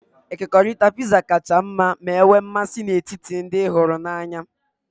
Ekekọrịtara Pizza kacha mma ma nwee mmasị n'etiti ndị ị hụrụ n'anya.